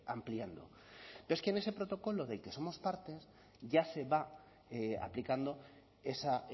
ampliando pero es que en ese protocolo del que somos parte ya se va aplicando esa